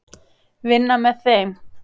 Vinna með þeim.